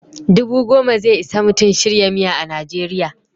Dubu goma ze isa Mutum shirya miya a Najeriya.